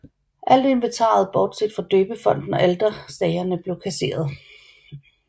Alt inventaret bortset fra døbefonten og alterstagerne blev kasseret